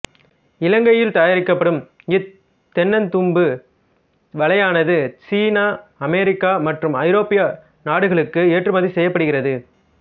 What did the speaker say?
இலங்கையில் தயாரிக்கப்படும் இத் தென்னந்தும்பு வலையானது சீனா அமெரிக்கா மற்றும் ஐரோப்பிய நாடுகளுக்கு ஏற்றுமதி செய்யப்படுகிறது